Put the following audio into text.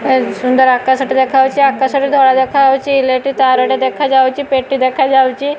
ଏ ସୁନ୍ଦର ଆକାଶ ଟି ଦେଖାହଉଚି ଆକାଶ ଟି ଧଳା ଦେଖାହଉଚି ଇଲେକ୍ଟ୍ରିକ ତାର ଟେ ଦେଖାଯାଉଚି ପେଟି ଦେଖାଯାଉଚି।